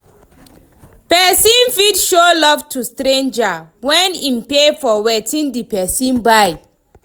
Persin fit show love to stranger when im pay for wetin di person buy